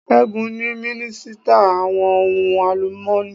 Ṣẹ́gun ni minisita àwọn ohun àlùmọ́ni.